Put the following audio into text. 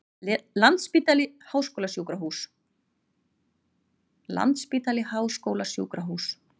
Landspítali Háskólasjúkrahús.